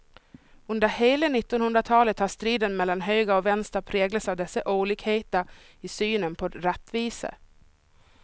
Under hela nittonhundratalet har striden mellan höger och vänster präglats av dessa olikheter i synen på rättvisa.